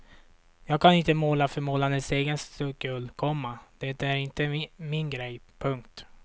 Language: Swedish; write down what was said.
Jag kan inte måla för målandets egen skull, komma det är inte min grej. punkt